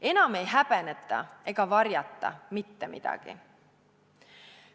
Enam ei häbeneta ega varjata mitte midagi.